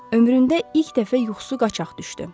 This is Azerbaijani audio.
Ömründə ilk dəfə yuxusu qaçaq düşdü.